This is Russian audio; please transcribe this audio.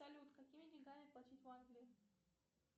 салют какими деньгами платить в англии